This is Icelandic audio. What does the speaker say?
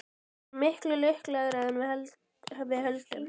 Við erum miklu lukkulegri en við höldum.